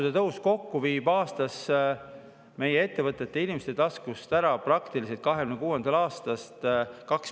Maksutõusud kokku viivad 2026. aastast meie ettevõtetelt ja inimeste taskust praktiliselt 2 miljardit eurot aastas.